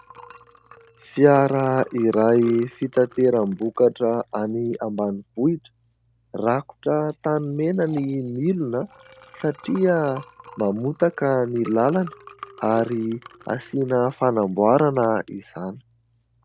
Fiara iray fitaterambokatra any ambanivohitra. Rakotra tanimena ny milina satria mamotaka ny lalana ary asiana fanamboarana izany.